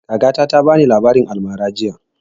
Kakata ta bani labarin almara jiya